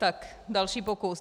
Tak další pokus.